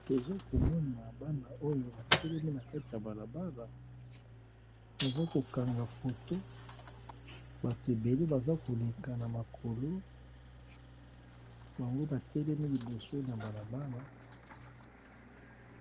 Tozokomona bana oyo batelemi nakatikati ya balabala, baza KO kanga photo, bato ebele bazo leka namakolo bango batelemi liboso na balabala.